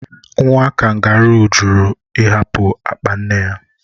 Nwa kangaroo (Joey) jụrụ ịhapụ apa nne ya.